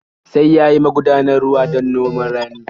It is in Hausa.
Sai ya yi magudanar ruwa don noman rani.